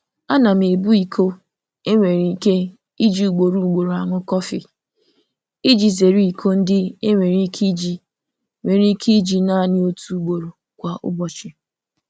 Ana m ebu iko e nwere ike iji ugboro ugboro aṅụ kọfị iji zeere iko ndị e nwere ike iji nwere ike iji naanị otu ugboro kwa ụbọchị.